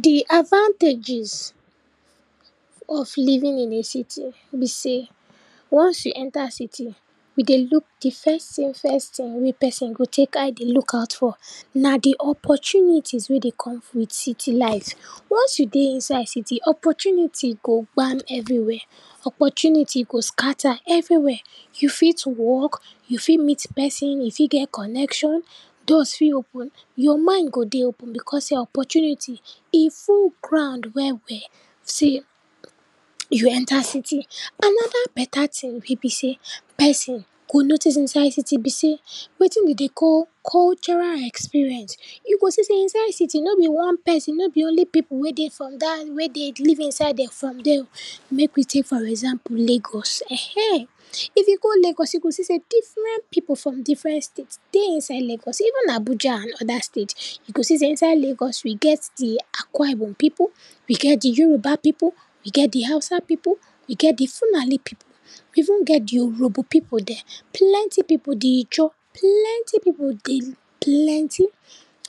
Di advantages of living in a city be sey, once you enter city you dey look di first tin first tin wey person go tek eye dey look out for na di opportunities wey dey come wit city life. Once you dey inside city, opportunity go gba everywhere, opportunity go scatter everywhere. You fit work, you fit meet person, you fit get connection, doors fit open, your mind go dey open because sey opportunity e full ground well well. See, you enter city, anoda beta tin wey be sey, person go notice inside city be sey wetin den dey call cultural experience. You go see sey inside city, no be one person, no be only pipu wey dey from dat wey dey live inside um from der, mek we tek for example lagos, ehen, if you go lagos you go see sey differen pipu from differen states dey inside lagos, even abuja and oda state you go see sey inside lagos we get di akwa ibom pipu, we get di Yoruba pipu, we get di hausa pipu, we get di fulani pipu, we even get di Urhobo pipu den, plenty pipu, di ijaw, plenty pipu dey plenty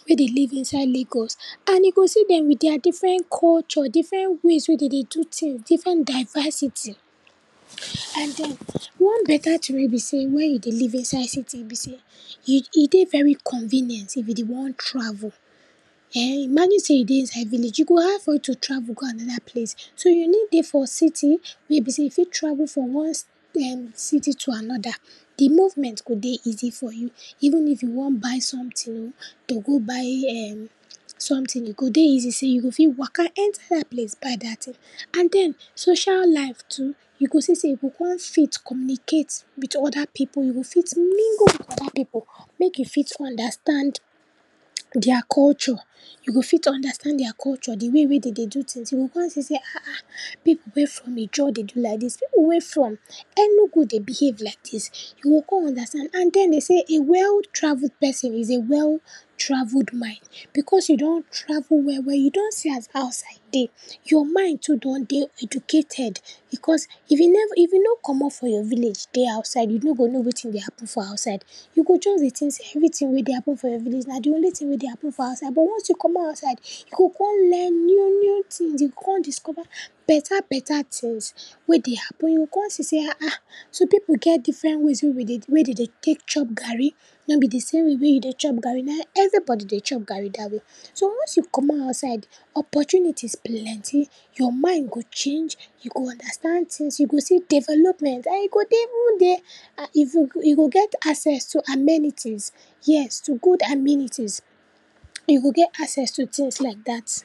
wey dey live inside lagos. And you go see dem wit dia differen culture, differen ways wey den dey do tins, differen diversity. And den, one beta tin wey be sey wen you dey live inside city be sey, e e dey very convenient if you dey wan travel. Ehn, imagine sey you dey inside village, e go hard for you to travel go anoda place. So, you need dey for city wey be sey you fit travel from one um city to anoda, di movement go dey easy for you, even if you wan buy sometin o, to go buy um sometin, e go dey easy, you go fit waka enter dat place buy dat tin and den, social life too, you go see sey you go kon fit communicate wit oda pipu, you go fit mingle wit oda pipu mek you fit understand dia culture, you go fit understand dia culture, di way wey den dey do tins, you go kon see sey ah ah pipu wey from ijaw dey do liadis, pipu wey from enugu dey behave laidis, you go kon understand and den den sey a well-travelled person is a well-travelled mind. Because you don travel well well, you don see as outside dey, your mind too don dey educated because if you neva, if you no comot for your village dey outside, you no go know wetin dey happen for outside. You go just dey tink sey everytin wey dey happen for your village na di only tin wey dey happen for outside. But once you comot outside, you go kon learn new new tins, you go kon discover beta beta tins wey dey happen, you go kon see sey ah ah, so pipu get differen ways wey we dey, wey den dey tek chop garri, no be di same way wey you dey chop garri na everybody dey chop garri dat way. So, once you comot outside, opportunities plenty, your mind go change, you go understand tins, you go see development and e go dey even dey, a e go, e go get access to amenities, yes, to good amenities, you go get access to tins like dat.